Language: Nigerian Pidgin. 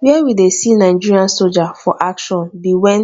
where we dey see nigerian soldier for action be when